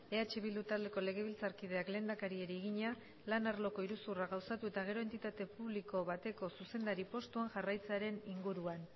eh bildu taldeko legebiltzarkideak lehendakariari egina lan arloko iruzurra gauzatu eta gero entitate publiko bateko zuzendari postuan jarraitzearen inguruan